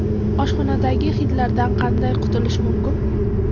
Oshxonadagi hidlardan qanday qutulish mumkin?.